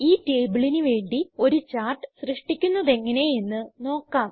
ഈ ടേബിളിന് വേണ്ടി ഒരു ചാർട്ട് സൃഷ്ടിക്കുന്നതെങ്ങനെ എന്ന് നോക്കാം